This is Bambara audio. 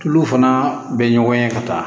Tulu fana bɛ ɲɔgɔn ye ka taa